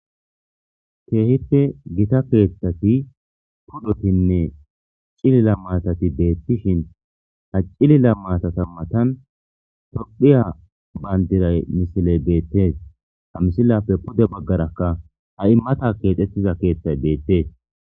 keehipte gita keeththati pudotinne cilila maatati deettishin ha cilila maatata matan tophiya bayndiray misiley deettees ha misilappe pude baggarakka ha immata keexxettiza keeththay deettees